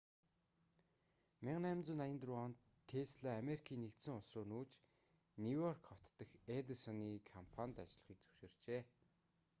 1884 онд тесла америкийн нэгдсэн улс руу нүүж нью-йорк хот дахь эдисоны компанид ажиллахыг зөвшөөрчээ